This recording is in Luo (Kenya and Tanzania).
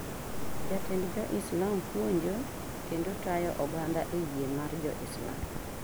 Jatend jo Islam puonjo kendo tayo oganda e yie mar jo Islam.